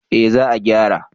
Eh za a gyara